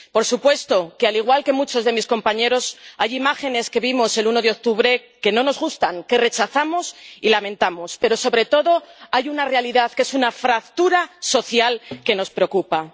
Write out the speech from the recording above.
Por supuesto que —al igual que ocurre a muchos de mis compañeros— hay imágenes que vimos el 1 de octubre que no nos gustan, que rechazamos y lamentamos, pero, sobre todo, hay una realidad, que es una fractura social que nos preocupa.